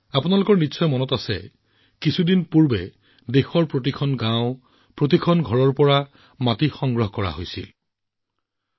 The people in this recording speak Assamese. আপোনালোকৰ হয়তো মনত আছে যে শেহতীয়াকৈ মই দেশৰ প্ৰতিখন গাঁৱৰ পৰা আৰু প্ৰতিটো ঘৰৰ পৰা মাটি সংগ্ৰহ কৰিবলৈ অনুৰোধ কৰিছিলোঁ